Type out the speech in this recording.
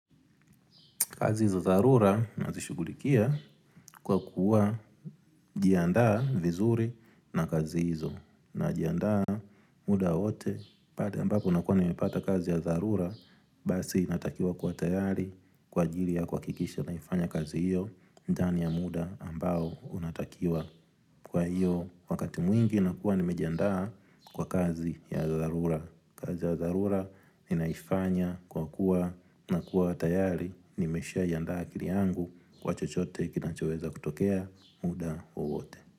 Kazi za dharura nazishugulikia kwa kujiandaa vizuri na kazi hizo. Najiandaa muda wowote, pale ambapo nakuwa nimepata kazi ya dharura, basi natakiwa kuwa tayari, kwa ajili ya kuhakikisha naifanya kazi hiyo, ndani ya muda ambao unatakiwa kwa hiyo. Wakati mwingi nakuwa nimejiandaa kwa kazi ya dharura. Kazi ya dharura, ninaifanya kwa kuwa na kuwa tayari Nimeshaiandaa akili yangu kwa chochote kinachoweza kutokea muda wowote.